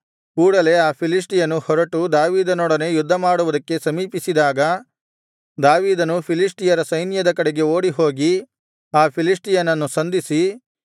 ಕೂಡಲೇ ಆ ಫಿಲಿಷ್ಟಿಯನು ಹೊರಟು ದಾವೀದನೊಡನೆ ಯುದ್ಧಮಾಡುವುದಕ್ಕೆ ಸಮೀಪಿಸಿದಾಗ ದಾವೀದನು ಫಿಲಿಷ್ಟಿಯರ ಸೈನ್ಯದ ಕಡೆಗೆ ಓಡಿಹೋಗಿ ಆ ಫಿಲಿಷ್ಟಿಯನನ್ನು ಸಂಧಿಸಿ